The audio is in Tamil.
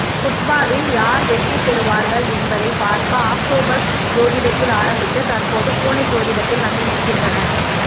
புட்பாலில் யார் வெற்றிப்பெறுவார்கள் என்பதை பார்க்க ஆக்டோபஸ் ஜோதிடத்தில் ஆரம்பித்து தற்போது பூனை ஜோதிடத்தில் வந்து நிற்கின்றனர்